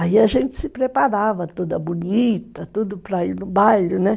Aí a gente se preparava, toda bonita, tudo para ir no baile, né?